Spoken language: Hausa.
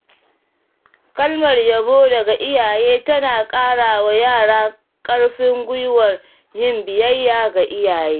Kalmar yabo daga iyaye tana ƙarawa yara ƙarfin guiwar yin biyayya ga iyayen.